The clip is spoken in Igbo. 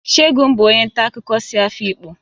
Segun bụ onye nta akụkọ si Afikpo